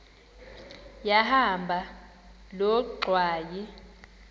yahamba loo ngxwayi